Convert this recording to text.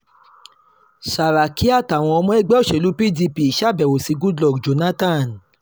sàràkí àtàwọn ọmọ ẹgbẹ́ òṣèlú pdp ṣàbẹ̀wò sí goodluck jonathan